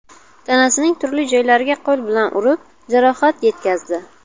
tanasining turli joylariga qo‘li bilan urib, jarohat yetkazdi.